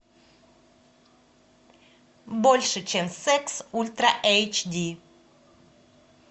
больше чем секс ультра эйч ди